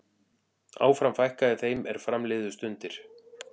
Áfram fækkaði þeim er fram liðu stundir.